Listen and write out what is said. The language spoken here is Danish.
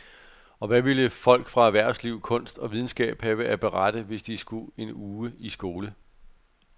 Og hvad ville folk fra erhvervsliv, kunst og videnskab have at berette, hvis de skulle en uge i skole.